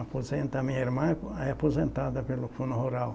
Aposenta, a minha irmã é aposentada pelo Fundo Rural.